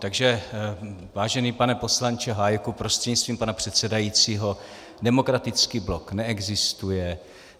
Takže vážený pane poslanče Hájku prostřednictvím pana předsedajícího, Demokratický blok neexistuje.